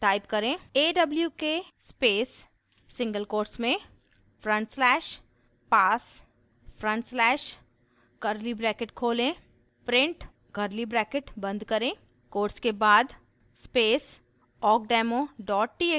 type करें: